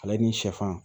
Ale ni sɛfan